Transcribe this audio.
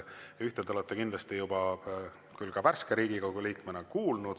Ühte te olete värske Riigikogu liikmena kindlasti juba kuulnud.